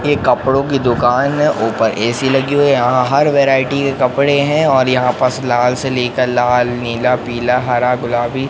ये कपड़ों की दुकान है ऊपर ए_सी लगी हुई है यहां हर वैरायटी के कपड़े हैं और यहां पास लाल से लेकर लाल नीला पीला हरा गुलाबी--